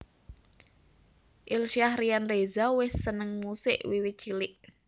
Ilsyah Ryan Reza wis seneng musik wiwit cilik